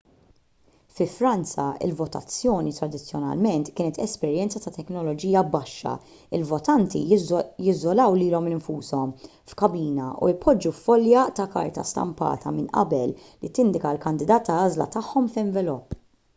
fi franza il-votazzjoni tradizzjonalment kienet esperjenza ta' teknoloġija baxxa il-votanti jiżolaw lilhom infushom f'kabina u jpoġġu folja ta' karta stampata minn qabel li tindika l-kandidat tal-għażla tagħhom f'envelop